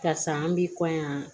Karisa an bi kɔɲɔ